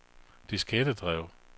diskettedrev